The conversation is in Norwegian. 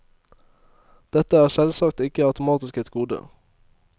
Dette er selvsagt ikke automatisk et gode.